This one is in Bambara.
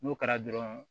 N'o kɛra dɔrɔn